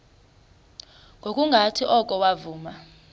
ngokungathi oko wavuma